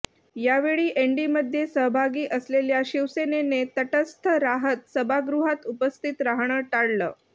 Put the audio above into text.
यावेळी एनडीमध्ये सहभागी असलेल्या शिवसेनेने तटस्थ राहत सभागृहात उपस्थित राहणं टाळलं